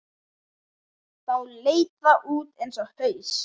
Þá leit það út eins og haus.